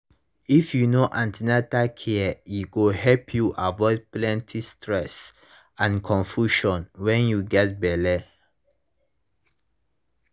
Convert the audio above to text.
if you know an ten atal care e go help you avoid plenty stress and confusion when you get belle